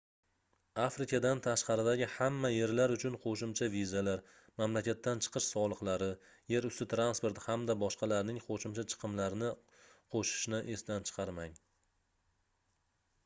afrikadan tashqaridagi hamma yerlar uchun qoʻshimcha vizalar mamlakatdan chiqish soliqlari yer usti transporti hamda boshqalarning qoʻshimcha chiqimlarni qoʻshishni esdan chiqarmang